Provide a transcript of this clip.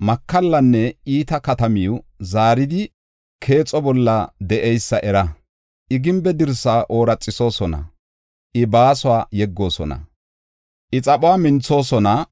makallanne iita katamiw zaaridi keexo bolla de7eysa era. I gimbe dirsa oorathosona; I baasuwa yeggoosona; I xaphuwa minthoosona.